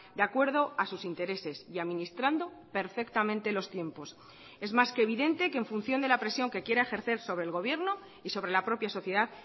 de acuerdo a sus intereses y administrando perfectamente los tiempos es más que evidente que en función de la presión que quiera ejercer sobre el gobierno y sobre la propia sociedad